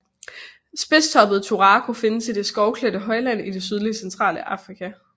Spidstoppet turako findes i det skovklædte højland i det sydlige centrale Afrika